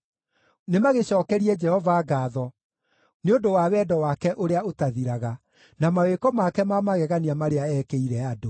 Nĩmagĩcookerie Jehova ngaatho nĩ ũndũ wa wendo wake ũrĩa ũtathiraga, na mawĩko make ma magegania marĩa eekĩire andũ.